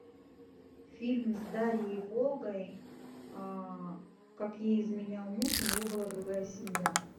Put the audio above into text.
фильм с дарьей волгой как ей изменял муж у него была другая семья